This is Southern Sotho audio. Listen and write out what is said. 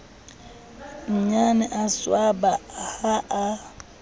nnyane a swaba ha a